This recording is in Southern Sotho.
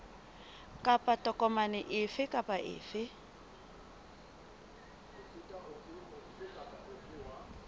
kapa tokomane efe kapa efe